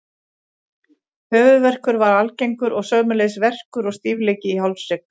Höfuðverkur var algengur og sömuleiðis verkur og stífleiki í hálshrygg.